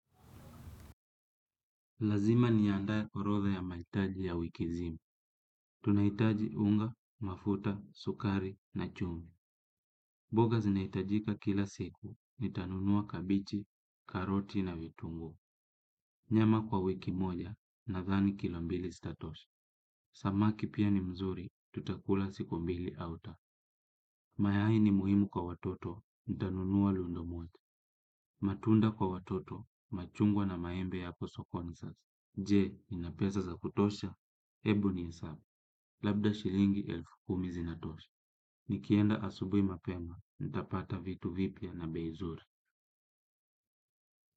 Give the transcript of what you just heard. Lazima niandae orodha ya maitaji ya wikizima. Tunaitaji unga, mafuta, sukari na chumvi. Boga zinaitajika kila siku ni tanunua kabichi, karoti na vitunguu. Nyama kwa wiki moja na thani kilombili zitatosha. Samaki pia ni mzuri, tutakula siku mbili au ta. Mayai ni muhimu kwa watoto, nitanunua lundomoja. Matunda kwa watoto, machungwa na maembe yako sokoni sasa. Jee, ni napesaa za kutosha, ebu ni hesabu, labda shilingi elfu kumi zi na tosha. Nikienda asubui mapema, nitapata vitu vipia na beizuri.